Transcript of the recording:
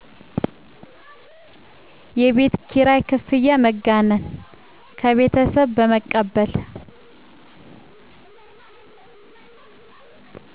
የቤት ኪራይ ክፍያ መጋነን ከቤተሠብ በመቀበል